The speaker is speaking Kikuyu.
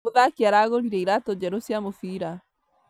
Mũthaki aragũrire iratũ njerũ cia mũbira